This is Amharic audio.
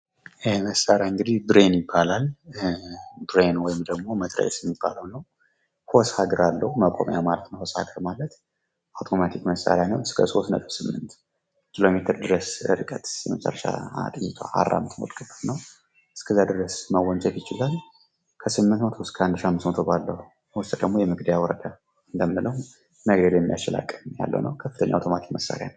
ይህ መሳሪያ ደግሞ ብሬን ይባላል። ብሬን ወይም መትረጊስ የሚባለው ነው ። ሆሳግራ አለው። ማቆሚያ ማለት ነው ሆሳግራ ማለት። አውቶማቲክ መሳሪያ ነው። እስከ 38 ኪሎሜትር መወንጨፍ ይችላል። ከ800 እስከ 1500 ሜትር ደግሞ የመግደያ ወረዳ ነው። ከፍተኛ የመግደል አቅም ያለው መሳሪያ ነው።